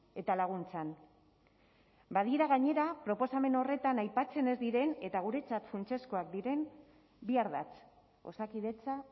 eta laguntzan badira gainera proposamen horretan aipatzen ez diren eta guretzat funtsezkoak diren bi ardatz osakidetza